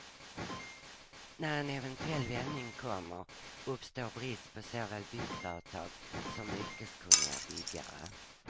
När en eventuell vändning kommer, uppstår brist på såväl byggföretag som yrkeskunniga byggare.